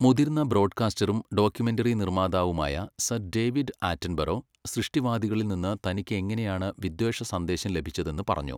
മുതിർന്ന ബ്രോഡ്കാസ്റ്ററും ഡോക്യുമെന്ററി നിർമ്മാതാവുമായ സർ ഡേവിഡ് ആറ്റൻബറോ, സൃഷ്ടിവാദികളിൽ നിന്ന് തനിക്ക് എങ്ങനെയാണ് വിദ്വേഷ സന്ദേശം ലഭിച്ചതെന്ന് പറഞ്ഞു.